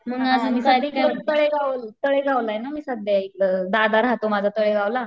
तळेगाव, तळेगावलये ना मी सध्या इकडं, दादा राहतो माझा तळेगावला.